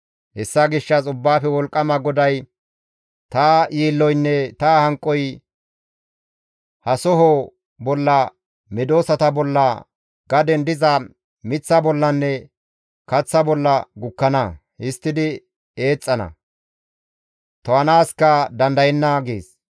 Hessa gishshas Ubbaafe Wolqqama GODAY, «Ta yiilloynne ta hanqoy ha soho bolla, medosata bolla, gaden diza miththa bollanne kaththa bolla gukkana; histtidi eexxana; to7anaaska dandayenna» gees.